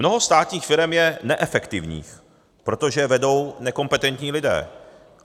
Mnoho státních firem je neefektivních, protože je vedou nekompetentní lidé.